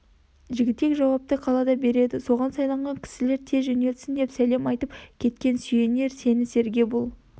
жігітек жауапты қалада береді со-ған сайланған кісілерін тез жөнелтсін деп сәлем айтып кеткен сүйенер сенісерге бұл